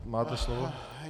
Máte slovo.